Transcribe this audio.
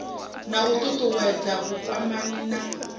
na u ṱuṱuwedza vhukwamani na